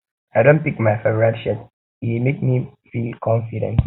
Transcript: i don pick my favorite shirt e dey make me me feel confident